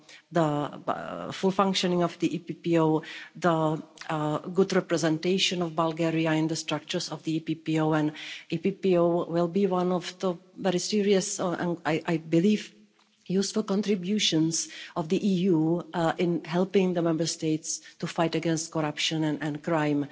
the full functioning of the EPPO, the good representation of Bulgaria in the structures of the EPPO, and the EPPO will be one of the very serious and I believe useful contributions of the EU in helping the Member States to fight against corruption and crime